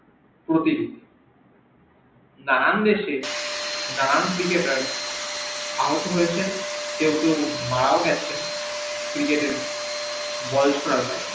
নানান দেশে নানান cricketer আহত হয়েছে কেও কেও মারাও গিয়েছে cricket এ